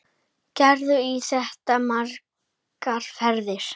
Gerði í þetta margar ferðir.